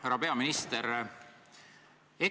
Härra peaminister!